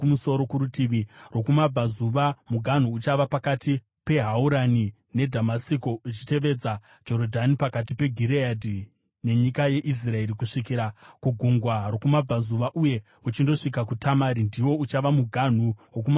Kurutivi rwokumabvazuva muganhu uchava pakati peHaurani neDhamasiko, uchitevedza Jorodhani pakati peGireadhi nenyika yeIsraeri, kusvikira kugungwa rokumabvazuva uye uchindosvika kuTamari. Ndiwo uchava muganhu wokumabvazuva.